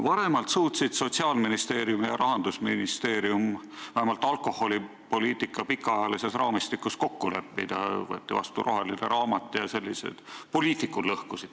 Varemalt suutsid Sotsiaalministeerium ja Rahandusministeerium vähemalt alkoholipoliitika pikaajalises raamistikus kokku leppida, võeti vastu roheline raamat ja sellised asjad.